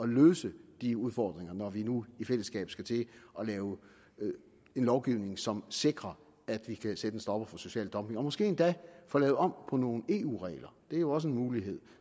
løse de udfordringer når vi nu i fællesskab skal til at lave en lovgivning som sikrer at vi kan sætte en stopper for social dumping og måske endda få lavet om på nogle eu regler det er jo også en mulighed